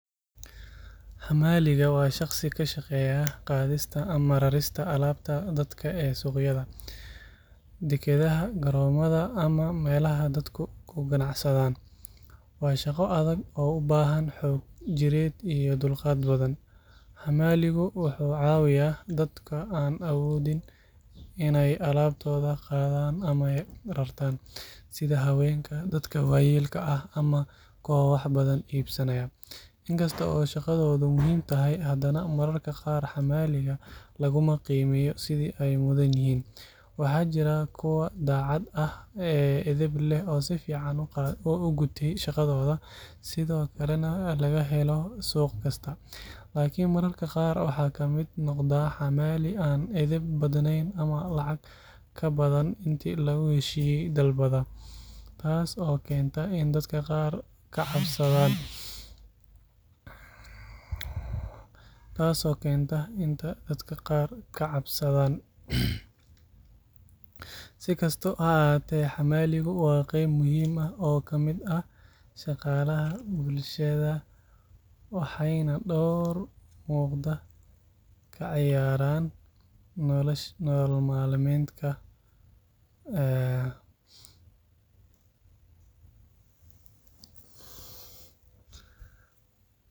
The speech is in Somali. Xamaaliga waa shaqsi ka shaqeeya qaadista ama rarista alaabta dadka ee suuqyada, dekedaha, garoomada, ama meelaha dadku ku ganacsadaan. Waa shaqo adag oo u baahan xoog jireed iyo dulqaad badan. Xamaaligu wuxuu caawiyaa dadka aan awoodin inay alaabtooda qaadaan ama rartaan, sida haweenka, dadka waayeelka ah, ama kuwa wax badan iibsanaya. Inkasta oo shaqadoodu muhiim tahay, hadana mararka qaar xamaaliga laguma qiimeeyo sidii ay mudan yihiin. Waxaa jira kuwa daacad ah, edeb leh oo si fiican u gutay shaqadooda, sidoo kalena laga helo suuq kasta. Laakiin mararka qaar waxaa ka mid noqda xamaali aan edeb badnayn ama lacag ka badan intii lagu heshiiyay dalbada, taas oo keenta in dadka qaar ka cabsadaan. Si kastaba ha ahaatee, xamaaligu waa qayb muhiim ah oo ka mid ah shaqaalaha bulshada, waxayna door muuqda ka ciyaaraan nolosha maalinlaha ah.